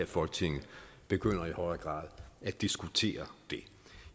folketinget begynder i højere grad at diskutere det